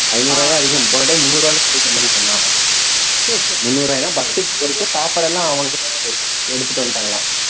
ஐந்நூறு ரூபாயே அதிகம் போன time முந்நூறு ரூபாய்ல போய்ட்டு வந்தோம்னு சொன்னான் அவன் முந்நூறு ரூபாய்ல படத்துக்கு போயிட்டு சாப்பாடு எல்லாம் எடுத்துட்டு வந்துட்டாங்களாம்